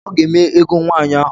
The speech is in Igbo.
Ọga eme egow nwaanyi ahu.